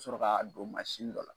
Sɔrɔ k'a don mansin dɔ la